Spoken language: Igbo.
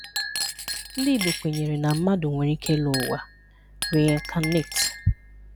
Ndị Igbo kwenyere na mmadụ nwere ike ịlọ ụwa (reincarnate),